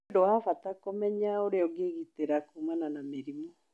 Nĩ ũndũ wa bata kũmenya ũrĩa ũngĩĩgitĩra kuumana na mĩrimũ.